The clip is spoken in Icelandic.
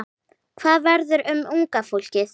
Hvað verður um unga fólkið?